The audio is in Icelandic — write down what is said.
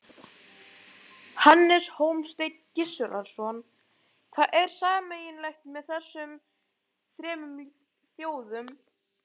Hannes Hólmsteinn Gissurarson: Hvað er sameiginlegt með þessum þremur þjóðum?